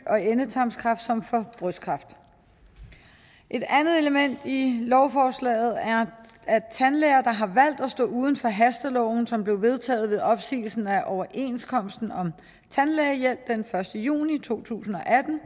og endetarmskræft som for brystkræft et andet element i lovforslaget er at tandlæger der har at stå uden for hasteloven som blev vedtaget ved opsigelsen af overenskomsten om tandlægehjælp den første juni to tusind og atten